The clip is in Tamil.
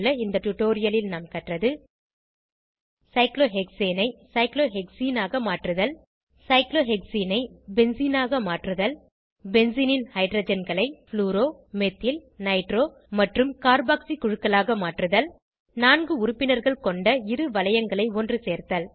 இந்த டுடோரியலில் நாம் கற்றது சைக்ளோஹெக்சேனை சைக்ளோஹெக்சீனாக மாற்றுதல் சைக்ளோஹெக்சீனை பென்சீனாக மாற்றுதல் பென்சீனின் ஹைட்ரஜன்களை ப்ளூரோ மெத்தில் நைட்ரோ மற்றும் கார்பாக்ஸி குழுக்களாக மாற்றுதல் நான் உறுப்பினர்கள் கொண்ட இரு வளையங்களை ஒன்றுசேர்த்தல்